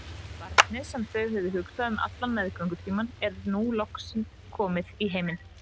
Barnið, sem þau höfðu hugsað um allan meðgöngutímann, er nú loks komið í heiminn.